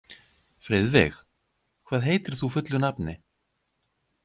Friðveig, hvað heitir þú fullu nafni?